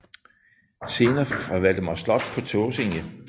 Scener fra Valdemars slot på Tåsinge